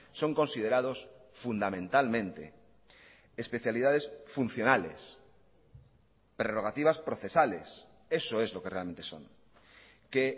son considerados fundamentalmente especialidades funcionales prerrogativas procesales eso es lo que realmente son que